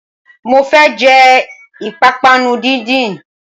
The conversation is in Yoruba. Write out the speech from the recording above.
Mo fẹ́ jẹ ìpápánu díndín